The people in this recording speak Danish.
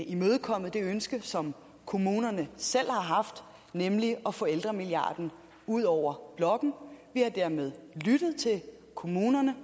imødekommet det ønske som kommunerne selv har haft nemlig at få ældremilliarden ud over blokken vi har dermed lyttet til kommunerne